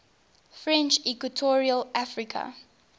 french equatorial africa